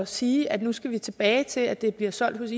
sige at nu skal vi tilbage til at det bliver solgt hos